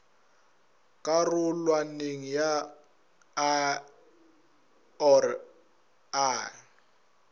karolwaneng ya i or ii